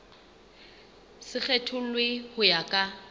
se kgethollwe ho ya ka